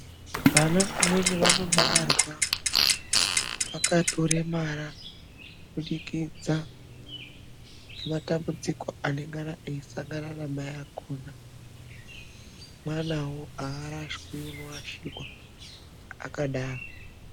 Vana vamweni vanobarwa vakatoremara, kubudikidza ngematambudziko anongana eisangana namai akhona. Mwanawo aarashwi, unoashirwa akadaro.